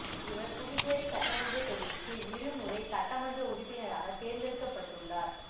இவர் புதுச்சேரி சட்டமன்ற தொகுதிக்கு இரு முறை சட்டமன்ற உறுப்பினராக தேர்ந்தெடுக்கபட்டுள்ளார்